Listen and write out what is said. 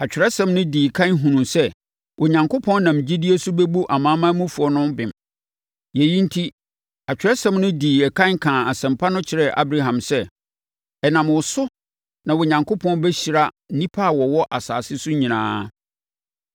Atwerɛsɛm no dii ɛkan hunuu sɛ Onyankopɔn nam gyidie so bɛbu amanamanmufoɔ no bem. Yei enti, Atwerɛsɛm no dii ɛkan kaa Asɛmpa no kyerɛɛ Abraham sɛ, “Ɛnam wo so na Onyankopɔn bɛhyira nnipa a wɔwɔ asase so nyinaa.”